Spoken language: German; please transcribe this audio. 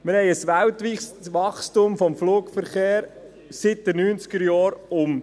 Wir haben seit den Neunzigerjahren ein weltweites Wachstum des Flugverkehrs um 30 Prozent.